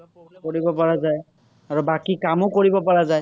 আৰু বাকী কামো কৰিব পৰা যায়।